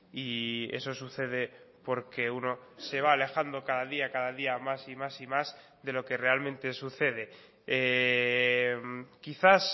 y eso sucede porque uno se va alejando cada día cada día más y más y más de lo que realmente sucede quizás